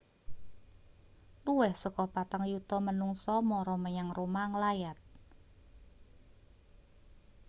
luwih saka patang yuta manungsa mara menyang roma nglayat